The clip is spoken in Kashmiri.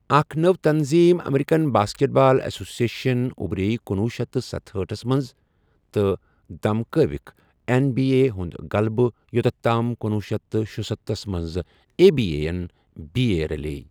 اکھ نئو تنظیٖم، American basketball association اُبرے کنوہُ شیتھ تہٕ ستہأٹھ منٛز تہٕ دھمکٲوٕکھ این بی اے ہُنٛد غلبہٕ یۄتت تام کنۄہ شیتھ تہٕ شُسَتتھ منٛز A B A N B A رَلے